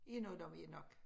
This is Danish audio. Vi når dem jo nok